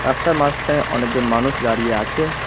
রাস্তার মাঝখানে অনেকজন মানুষ দাঁড়িয়ে আছে।